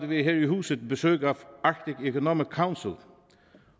vi her i huset besøg af arctic economic council